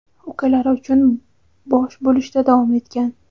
ukalari uchun bosh bo‘lishda davom etgan.